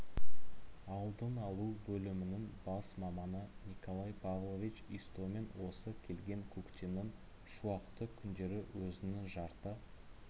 алдын алу бөлімінің бас маманы николай павлович истомин осы келген көктемнің шуақты күндері өзінің жарты